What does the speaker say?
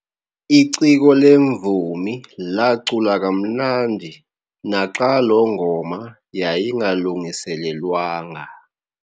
Iciko lemvumi lacula kamnandi naxa loo ngoma yayingalungiselelwanga.